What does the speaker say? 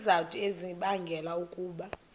izizathu ezibangela ukuba